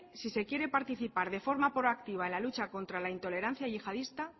si se quiere participar de forma proactiva en la lucha contra la intolerancia yihadista